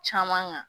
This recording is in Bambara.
Caman kan